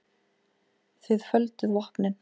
Þið földuð vopnin.